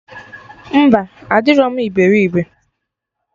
Mba, adịrọ m iberibe